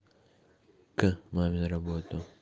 к маме на работу